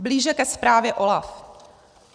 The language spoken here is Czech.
Blíže ke zprávě OLAF.